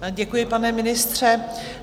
Děkuji, pane ministře.